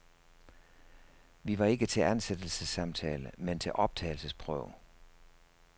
Vi var ikke til ansættelsessamtale, men til optagelsesprøve.